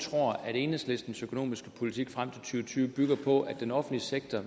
tror at enhedslistens økonomiske politik frem til og tyve bygger på at den offentlige sektor